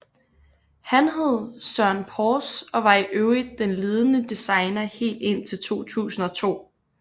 Han hed Søren Pors og var i øvrigt den ledende designer helt indtil 2002